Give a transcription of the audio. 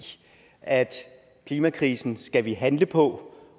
at klimakrisen skal vi handle på